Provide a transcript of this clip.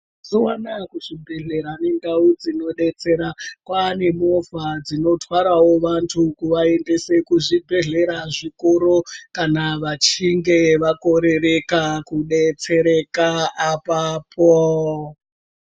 Mazuva anaya kuzvibhedhlera kune ndau dzinodetsera ,kwane movha dzinotwarawo vantu kuvaendesa kuzvibhedhlera zvikuru kana vachinge vakorereka kudetsereka apapo.